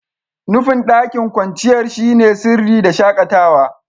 Nufin daƙin kwanciyar shine sirri da shakatawa.